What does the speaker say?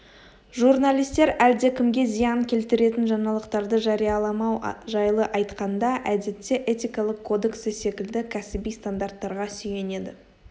журналистер әлдекімге зиян келтіретін жаңалықтарды жарияламау жайлы айтқанда әдетте этикалық кодексі секілді кәсіби стандарттарға сүйенеді